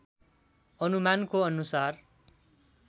अनुमानको अनुसार